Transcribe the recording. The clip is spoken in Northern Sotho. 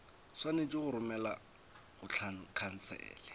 swanetše go romelwa go khansele